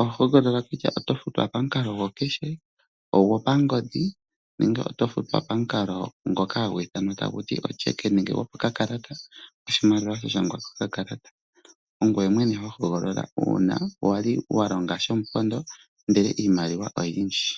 Oho hogolola kutya oto futwa pamukalo gwokupewa iimaliwa koomuma, ogwopangodhi nenge oto futwa pamukalo gwokunyolelwa iimaliwa yoye pokafo nenge pokakalata komafutilo ongoye mwene ho hogolola uuna wali wa longa shomupondo ndele iimaliwa oyindji.